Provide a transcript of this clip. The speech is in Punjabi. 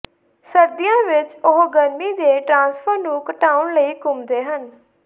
ਸਰਦੀਆਂ ਵਿੱਚ ਉਹ ਗਰਮੀ ਦੇ ਟ੍ਰਾਂਸਫਰ ਨੂੰ ਘਟਾਉਣ ਲਈ ਘੁੰਮਦੇ ਹਨ